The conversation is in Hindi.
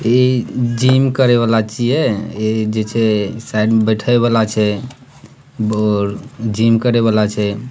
ये जिम करेवाला छिए ये जैसे साइड में बैठे वाला छै और जिम करेवाल छै।